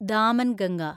Damanganga